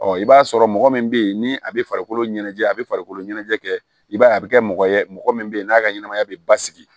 i b'a sɔrɔ mɔgɔ min bɛ ye ni a bɛ farikolo ɲɛnajɛ a bɛ farikolo ɲɛnajɛ kɛ i b'a ye a bɛ kɛ mɔgɔ ye mɔgɔ min bɛ yen n'a ka ɲɛnamaya bɛ basigi